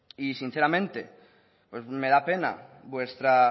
y sinceramente pues me da pena vuestra